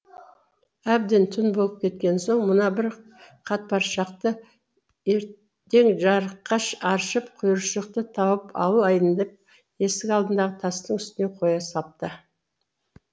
әбден түн болып кеткен соң мына бір қатпаршақты ертең жарықта аршып құйыршықты тауып алайын деп есік алдындағы тастың үстіне қоя салыпты